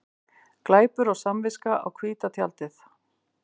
Glæpur og samviska á hvíta tjaldið